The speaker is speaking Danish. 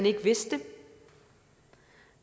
ikke vidste det